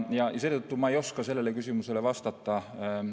Ma ei oska sellele küsimusele vastata.